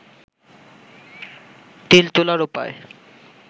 তিল তোলার উপায়